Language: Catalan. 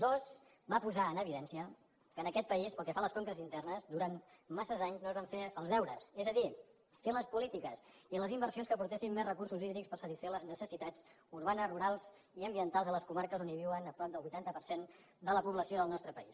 dues va posar en evidència que en aquest país pel que fa a les conques internes durant massa anys no es van fer els deures és a dir fer les polítiques i les inversions que aportessin més recursos hídrics per satisfer les necessitats urbanes rurals i ambientals a les comarques on viu prop del vuitanta per cent de la població del nostre país